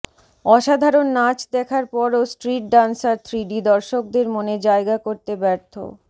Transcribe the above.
অসাধারণ নাচ দেখার পরও স্ট্রিট ডান্সার থ্রিডি দর্শকদের মনে জায়গা করতে ব্যর্থ